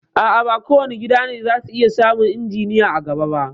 A'a, ba kowane gida ne za su iya samun injiniya a gaba ba